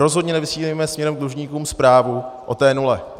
Rozhodně nevysílejme směrem k dlužníkům zprávu o té nule.